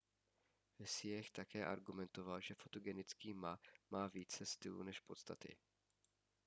hsieh také argumentoval že fotogenický ma má více stylu než podstaty